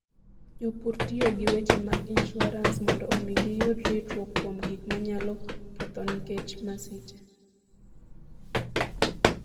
Jopur tiyo gi weche mag insuarans mondo omi giyud ritruok kuom gik manyalo kethogi nikech masiche.